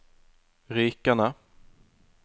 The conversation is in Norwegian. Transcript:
Rykene